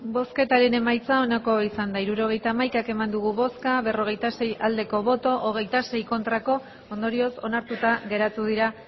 hirurogeita hamaika eman dugu bozka berrogeita sei bai hogeita sei ez ondorioz onartuta geratu dira